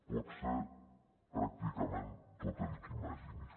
pot ser pràcticament tot el que imaginis